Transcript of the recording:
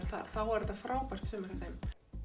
þar þá var þetta frábært sumar hjá þeim